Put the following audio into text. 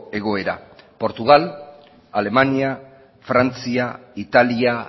egoera portugal alemania frantzia italia